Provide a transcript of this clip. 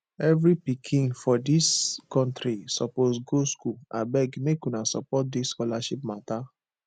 every pikin for dis country suppose go school abeg make una support dis scholarship mata